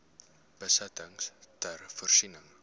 besittings ter voorsiening